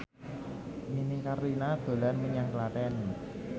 Nini Carlina dolan menyang Klaten